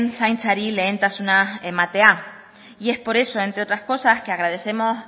zaintzari lehentasuna ematea y es por eso entre otras cosas que agradecemos